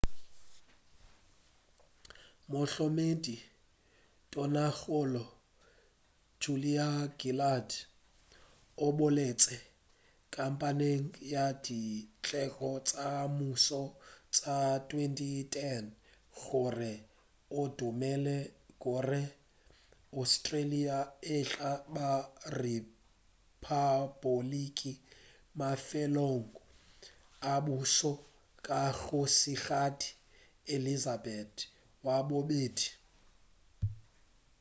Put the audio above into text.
mohlokomedi tonakgolo julia gillard o boletše kampeng ya dikgetho tša mmušo tša 2010 gore o dumela gore australia e tla ba rephapoliki mafelelong a pušo ya kgošigadi elizabeth wa bobedi